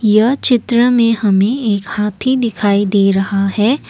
यह चित्र में हमें एक हाथी दिखाई दे रहा है।